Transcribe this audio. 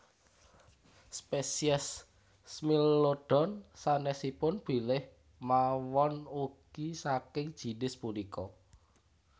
Spesies Smilodon sanesipun bilih mawon ugi saking jinis punika